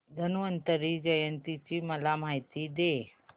धन्वंतरी जयंती ची मला माहिती दे